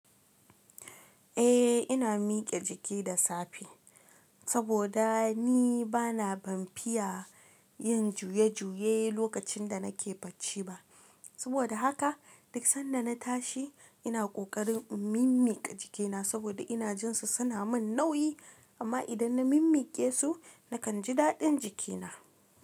Eh ina mike jiki da safe saboda ni bana banfiya yin juye juye lokacin da nake bacci ba. Saboda haka duk sanda na tashi ina kokarin in mimmiƙa jikina saboda ina jin su suna min nauyi amma idan na mimmiƙe su nakan ji daɗin jikina.